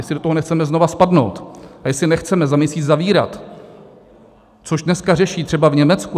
Jestli do toho nechceme znovu spadnout a jestli nechceme za měsíc zavírat, což dneska řeší třeba v Německu...